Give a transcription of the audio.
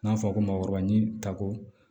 N'a fɔra ko maakɔrɔba ɲinini tako